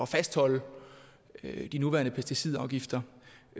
fastholde de nuværende pesticidafgifter